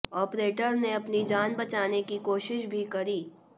operator ने अपनी जान बचाने की कोशिश भी करी